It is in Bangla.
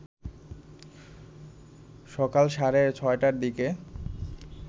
সকাল সাড়ে ৬টার দিকে